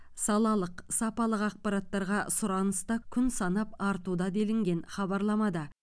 салалық сапалық ақпараттарға сұраныс та күн санап артуда делінген хабарламада